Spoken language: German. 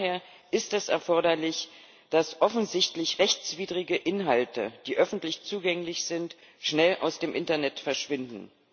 Von daher ist es erforderlich, dass offensichtlich rechtswidrige Inhalte, die öffentlich zugänglich sind, schnell aus dem Internet verschwinden.